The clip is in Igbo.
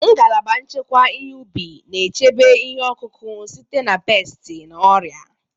Ngalaba nchekwa ihe ubi na-echebe ihe ọkụkụ site na pesti na ọrịa.